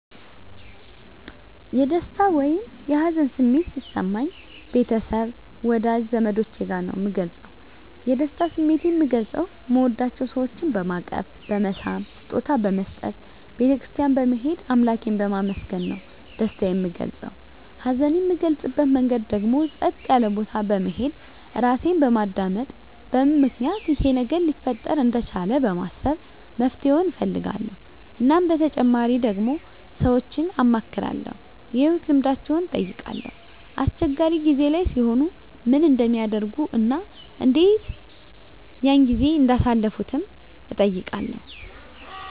የደስታ ወይም የሀዘን ስሜት ሲሰማኝ ቤተሰብ ወዳጅ ዘመዶቸ ጋር ነዉ ምገልፀዉ የደስታ ስሜቴን ምገልፀዉ ምወዳቸዉ ሰወችን በማቀፍ በመሳም ስጦታ በመስጠት ቤተ ክርስትያን በመሄድ አምላኬን በማመስገን ነዉ ደስታየን ምገልፀዉ ሀዘኔን ምገልፅበት መንገድ ደግሞ ፀጥ ያለ ቦታ በመሄድ ራሴን በማዳመጥ በምን ምክንያት ይሄ ነገር ሊፈጠር እንደቻለ በማሰብ መፍትሄዉን እፈልጋለዉ እናም በተጨማሪ ደግሞ ሰወችን አማክራለዉ የህይወት ልምዳቸዉን እጠይቃለዉ አስቸጋሪ ጊዜ ላይ ሲሆኑ ምን እንደሚያደርጉ እና እንዴት ያን ጊዜ እንዳሳለፉትም እጠይቃለዉ